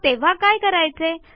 मग तेव्हा काय करायचे